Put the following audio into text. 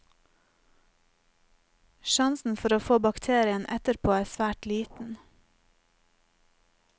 Sjansen for å få bakterien etterpå er svært liten.